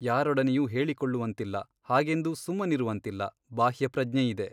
ಯಾರೊಡನೆಯೂ ಹೇಳಿಕೊಳ್ಳುವಂತಿಲ್ಲ ಹಾಗೆಂದು ಸುಮ್ಮನಿರುವಂತಿಲ್ಲ ಬಾಹ್ಯಪ್ರಜ್ಞೆಯಿದೆ.